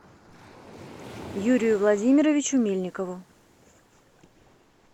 юрию владимировичу мельникову